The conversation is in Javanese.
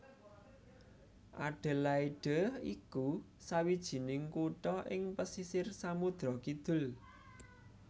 Adelaide iku sawijining kutha ing pesisir Samudra Kidul